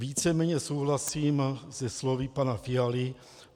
Víceméně souhlasím se slovy pana Fialy.